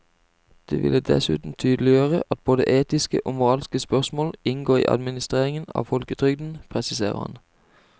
Det ville dessuten tydeliggjøre at både etiske og moralske spørmål inngår i administreringen av folketrygden, presiserer han.